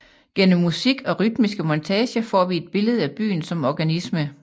Gennem musik og rytmiske montager får vi et billede af byen som organisme